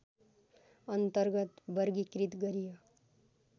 अन्तर्गत वर्गीकृत गरियो